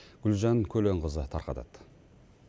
гүлжан көленқызы тарқатады